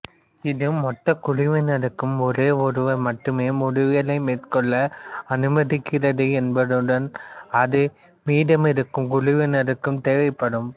இது மொத்த குழுவினருக்கும் ஒரே ஒருவர் மட்டுமே முடிவுகளை மேற்கொள்ள அனுமதிக்கிறது என்பதுடன் அது மீதமிருக்கும் குழுவினருக்கும் தேவைப்படும்